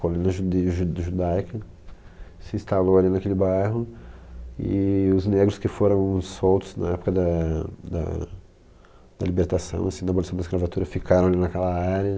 colonia judia jud judaica, se instalou ali naquele bairro e os negros que foram soltos na época da da libertação, assim, da abolição da escravatura, ficaram ali naquela área.